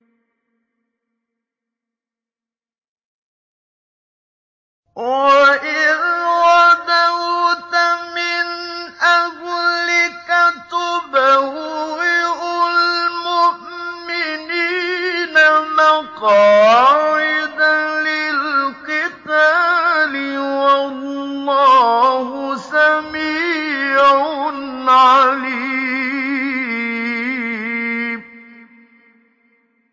وَإِذْ غَدَوْتَ مِنْ أَهْلِكَ تُبَوِّئُ الْمُؤْمِنِينَ مَقَاعِدَ لِلْقِتَالِ ۗ وَاللَّهُ سَمِيعٌ عَلِيمٌ